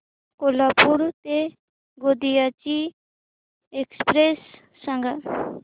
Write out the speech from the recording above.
कोल्हापूर ते गोंदिया ची एक्स्प्रेस सांगा